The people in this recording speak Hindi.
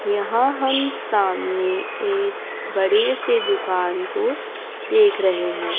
यहां हम सामने एक बड़े से दुकान को देख रहे हैं।